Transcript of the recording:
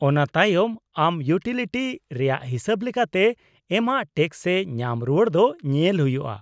-ᱚᱱᱟ ᱛᱟᱭᱚᱢ ᱟᱢ ᱤᱭᱩᱴᱤᱞᱤᱴᱤ ᱨᱮᱭᱟᱜ ᱦᱤᱥᱟᱹᱵ ᱞᱮᱠᱟᱛᱮ ᱮᱢᱟᱜ ᱴᱮᱠᱥ ᱥᱮ ᱧᱟᱢ ᱨᱩᱣᱟᱹᱲ ᱫᱚ ᱧᱮᱞ ᱦᱩᱭᱩᱜᱼᱟ ᱾